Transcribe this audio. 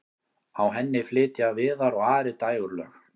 á henni flytja viðar og ari dægurlög